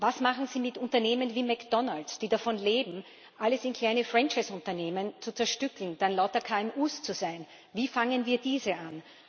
Was machen Sie mit Unternehmen wie McDonalds, die davon leben, alles in kleine Franchise Unternehmen zu zerstückeln, dann lauter KMUs zu sein, wie gehen wir diese an?